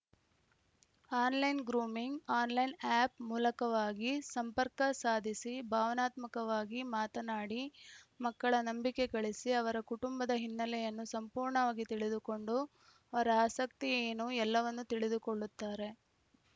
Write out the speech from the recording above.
online grooming online app ಮೂಲಕವಾಗಿ ಸಂಪರ್ಕ ಸಾಧಿಸಿ ಭಾವನಾತ್ಮಕವಾಗಿ ಮಾತನಾಡಿ ಮಕ್ಕಳ ನಂಬಿಕೆ ಗಳಿಸಿ ಅವರ ಕುಟುಂಬದ ಹಿನ್ನೆಲೆಯನ್ನು ಸಂಪೂರ್ಣವಾಗಿ ತಿಳಿದುಕೊಂಡು ಅವರ ಆಸಕ್ತಿ ಏನು ಎಲ್ಲವನ್ನೂ ತಿಳಿದುಕೊಳ್ಳುತ್ತಾರೆ